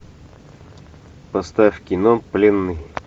поставь кино пленный